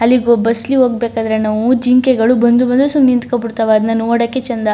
ಅಲ್ಲಿ ಗೊ ಬಸ್ ಲಿ ಹೋಗ್ಬೇಕಾದ್ರೆ ನಾವು ಜಿಂಕೆಗಳು ಬಂದು ಬಂದು ಸುಮ್ನೆ ನಿಂತುಕೊಂಡು ಬಿಡ್ತವೆ ಅದನ್ನ ನೋಡಕೆ ಚಂದ.